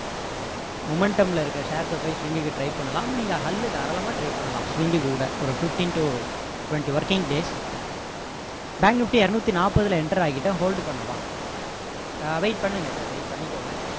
momentum ல இருக்க shares அ போய் swing க்கு try பண்ணலாம் நீங்க hall தாராளமா try பண்ணலாம் swing க்கு கூட ஒரு fifteen to twenty working days bank nifty இருநூத்தி நாற்பதுல enter ஆகிட்டோம் hold பண்ணவா ஆஹ் wait பண்ணுங்க sir wait பண்ணிக்கோங்க